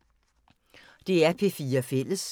DR P4 Fælles